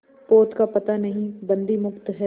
पोत का पता नहीं बंदी मुक्त हैं